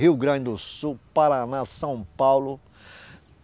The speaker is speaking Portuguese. Rio Grande do Sul, Paraná, São Paulo.